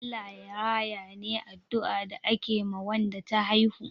"Allah Ya raya" ne addua da ake ma Wanda ta haihu